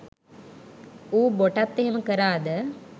ඌ බොටත් එහෙම කරාද